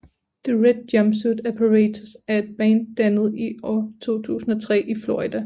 The Red Jumpsuit Apparatus er et band dannet i år 2003 i Florida